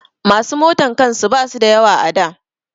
Masu motan kan su ba su da yawa a da